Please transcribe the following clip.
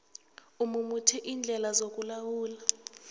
umumethe iindlela zokulawula